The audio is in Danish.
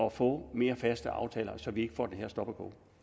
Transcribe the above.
at få mere faste aftaler så vi ikke får det her stop go